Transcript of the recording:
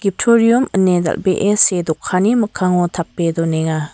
ftorium ine dal·bee see dokanni mikkango tape donenga.